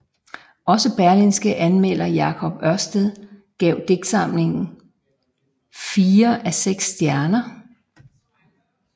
Også Berlingskes anmelder Jacob Ørsted gav digtsamlingen fire af seks stjerner